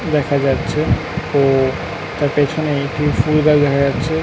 দেখা যাচ্ছে ও তার পেছনে একটি ফুলগাছ দেখা যাচ্ছে।